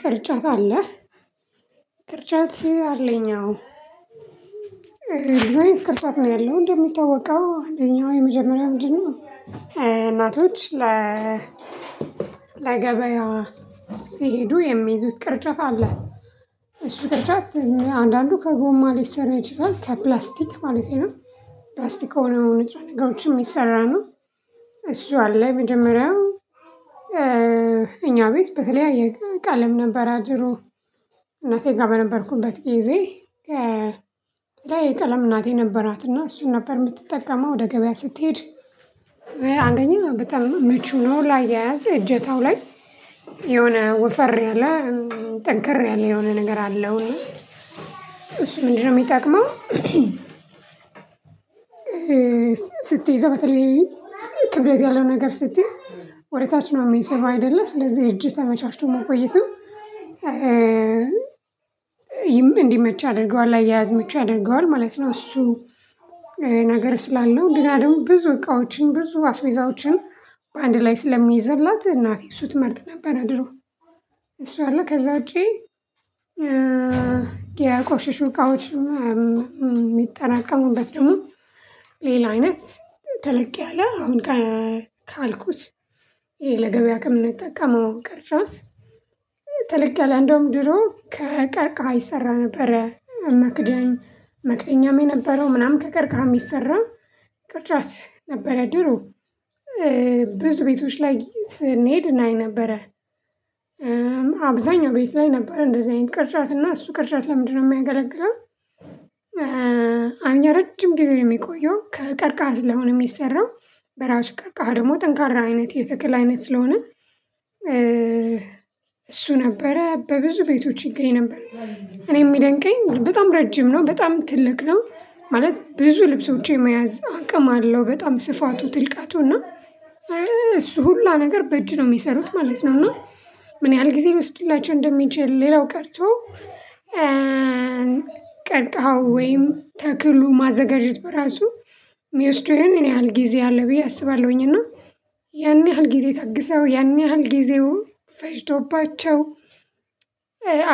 ቅርጫት አለህ። ቅርጫት ሲል አለኝ አዎ ብዙ አይነት ቅርጫት ነው ያለው እንደሚታወቀው አንደኛው የመጀመሪያው ምንድነው? እናቶች ለ ለገበያዋ ሲሄዱ የሚይዙት ቅርጫት አለ እሱ ቅርጫት አንዳንዱ ከጎማ ሊሰራ ይችላል ከፕላስቲክ ማለቴ ነው። ፕላስቲክ ከሆነው ንጥራ ነገሮችን የሚሰራ ነው። እሱ አለ መጀመሪያው እኛ ቤት በተለያየ ቀለም ነበረ ድሮ። ጋር በነበርኩበት ጊዜ የተለያየ ቀለም እናቴ ነበራት እና እሱን ነበር የምትጠቀመው ወደ ገበያ ስትሄድ። አንደኛው በጣም ምቹ ነው ላይ የያዘ እጀታው ላይ የሆነ ወፈር ያለ ጠንከር ያለ የሆነ ነገር አለው እሱ ምንድነው የሚጠቅመው? ስትይዘው በተለይ ክብደት ያለው ነገር ስትይዝ ወደ ታች ነው የሚሰብህ አይደለ ስለዚህ እጅህ ተመቻችቶ መቆየቱ እንዲመች አድርገዋል ላያያዝ ምቹ ያደርገዋል ማለት ነው። እሱ ነገር ስላለው ግና ደግሞ ብዙ እቃዎችን ብዙ አስዌዛዎችን በአንድ ላይ ስለሚይዝላት እናቴ እሱ ትመርጥ ነበር ድሮ። እሱ አለ ከዛ ውጪ። የቆሸሹ እቃዎች የሚጠራቀሙበት ደግሞ ሌላ አይነት ተለቅ ያለ አሁን ካልኩት ይሄ ለገበያ ከምንጠቀመው ቀርጫት ተለቅ ያለ እንደውም ድሮ ከቀርቃሀ ይሰራ ነበረ መክደኝ መክደኛም የነበረው ምናምን ከቀርቃህ የሚሰራው ቅርጫት ነበረ ድሮ። ብዙ ቤቶች ላይ ስንሄድ እናይ ነበረ። አብዛኛው ቤት ላይ ነበር እንደዚህ አይነት ቅርጫት እና እሱ ቅርጫት ለምንድነው የሚያገለግለው? አንድ ረጅም ጊዜ ነው የሚቆየው ከቀርቃሀ ስለሆነ የሚሰራው በራሱ ቀርቃሃ ደግሞ ጠንካራ አይነት የተክል አይነት ስለሆነ እሱ ነበረ በብዙ ቤቶች ይገኝ ነበር። እኔም የሚደንቀኝ በጣም ረጅም ነው በጣም ትልቅ ነው ማለት ብዙ ልብሶች የመያዝ አቅም አለው በጣም ስፋቱ ጥልቃቱ እና እሱ ሁላ ነገር በእጅ ነው የሚሰሩት ማለት ነው። እና ምን ያህል ጊዜ ይወስድላቸው እንደሚችል ሌላው ቀርቶ ቀርቃው ወይም ተክሉ ማዘጋጀት በራሱ ሚወስደው ምን ያህል ጊዜ አለ ብዬ አስባለሁኝ። እና ያን ያህል ጊዜ ታግሰው ያን ያህል ጊዜው ፈጅተውባቸው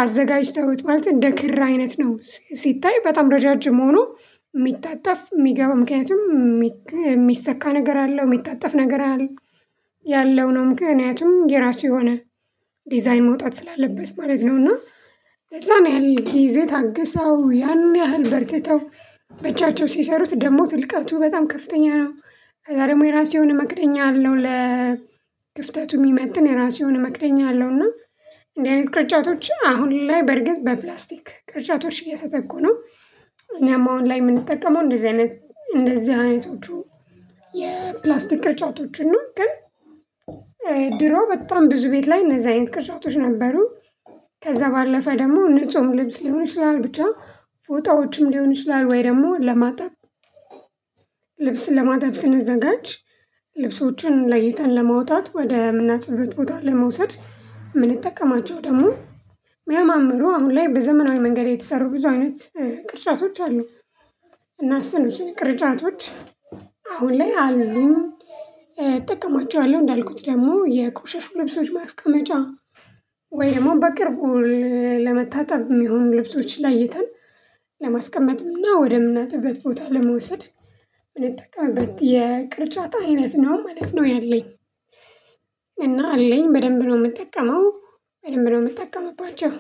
አዘጋጅተውት ማለት እንደ ክር አይነት ነው። ሲታይ በጣም ረዣዥም ሆኖ የሚታጠፍ የሚገባ ምክንያቱም የሚሰካ ነገር አለው የሚታጠፍ ነገር አለ ያለው ነው ምክንያቱም የራሱ የሆነ ዲዛይን መውጣት ስላለበት ማለት ነው። እና ለዛ ያለህል ኪዜ ታግሰው ያን ያህል በርትተው ብቻቸውን ሲሰሩት ደግሞ ትልቀቱ በጣም ከፍተኛ ነው። ከዛ ደግሞ የራሴ የሆነ መክደኛ አለው ለ ግፍተቱ የሚመጥን የራሱን መክደኛ አለው እና እንደዚህ አይነት ቅርጫቶች አሁን ላይ በርግጥ በፕላስቲክ ቅርጫቶች እየተተኩ ነው። እኛማ አሁን ላይ የምንጠቀመው እንደዚህ አይነት እንደዚህ አይነቶቹ የፕላስቲክ ቅርጫቶችን ነው ግን። ድሮ በጣም ብዙ ቤት ላይ እነዚህ አይነት ቅርጫቶች ነበሩ። ከዛ ባለፈ ደግሞ ንጹህ ምግብ ሊሆን ይችላል ብቻ ፎጣዎችም ሊሆን ይችላል ወይ ደግሞ ለማጠብ። ልብስን ለማጠብ ስንዘጋጅ ልብሶችን ለይተን ለማውጣት ወደ ምናጥብበት ቦታ ለመውሰድ የምንጠቀማቸው ደግሞ ያማምሩ አሁን ላይ በዘመናዊ መንገድ የተሰሩ ብዙ አይነት ቅርጫቶች አሉ። እና እሱን እሱን ቅርጫቶች አሁን ላይ አሉኝ። እጠቀማቸዋለሁ እንዳልኩት ደግሞ የቆሸሹ ልብሶች ማስቀመጫ ወይ ደግሞ በቅርቡ ለመታጠብ የሚሆኑ ልብሶች ለይተን ለማስቀመጥም እና ወደ ምናጥብበት ቦታ ለመውሰድ የምንጠቀመበት የቅርጫት አይነት ነው ማለት ነው። ያለኝ እና አለኝ በደንብ ነው የምጠቀመው። በደንብ ነው የምትጠቀምባቸው